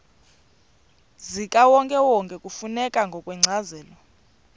zikawonkewonke kufuneka ngokwencazelo